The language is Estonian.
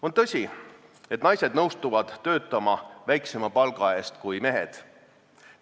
On tõsi, et naised nõustuvad töötama väiksema palga eest kui mehed.